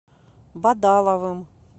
бадаловым